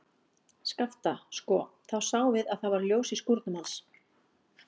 Skapta, sko, þá sáum við að það var ljós í skúrnum hans.